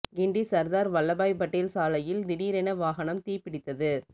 கிண்டி சர்தார் வல்லபாய் படேல் சாலையில் திடிரென வாகனம் தீ பிடித்தது